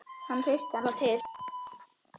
Hann hristir hana til.